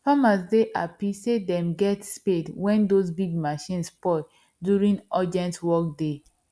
farmers dey happy say them get spade wen those big machine spoil during urgent work day